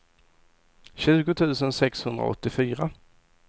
tjugo tusen sexhundraåttiofyra